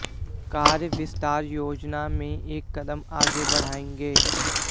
कार्य विस्तार योजना में एक कदम आगे बढ़ाएंगे